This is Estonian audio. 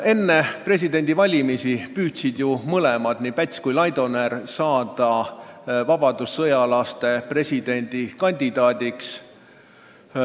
Enne presidendivalimisi püüdsid ju mõlemad, nii Päts kui Laidoner saada vabadussõjalaste presidendikandidaadiks.